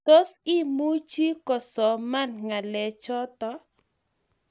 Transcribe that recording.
Tos, imuchi kosoman ngalechoto?